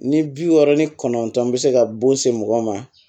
Ni bi wɔɔrɔ ni kɔnɔntɔn bɛ se ka bon se mɔgɔ ma